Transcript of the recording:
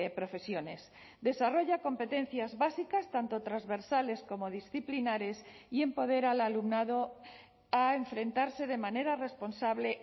profesiones desarrolla competencias básicas tanto transversales como disciplinares y empodera al alumnado a enfrentarse de manera responsable